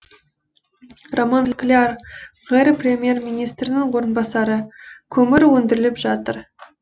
роман скляр қр премьер министрінің орынбасары көмір өндіріліп жатыр